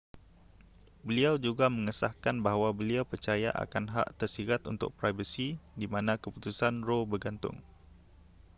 beliau juga mengesahkan bahawa beliau percaya akan hak tersirat untuk privasi di mana keputusan roe bergantung